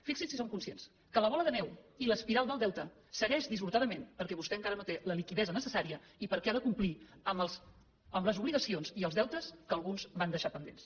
fixi’s si en som conscients que la bola de neu i l’espiral del deute segueix dissortadament perquè vostè encara no té la liquiditat necessària i perquè ha de complir amb les obligacions i els deutes que alguns van deixar pendents